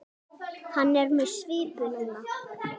Hann er með svipu núna.